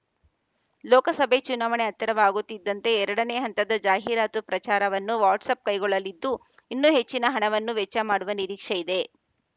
ಲೋಕಸಭೆ ಚುನಾವಣೆ ಹತ್ತಿರವಾಗುತ್ತಿದ್ದಂತೆ ಎರಡನೇ ಹಂತದ ಜಾಹೀರಾತು ಪ್ರಚಾರವನ್ನು ವಾಟ್ಸಾಪ್‌ ಕೈಗೊಳ್ಳಲಿದ್ದು ಇನ್ನೂ ಹೆಚ್ಚಿನ ಹಣವನ್ನು ವೆಚ್ಚ ಮಾಡುವ ನಿರೀಕ್ಷೆ ಇದೆ